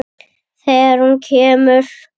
Þegar hún kemur.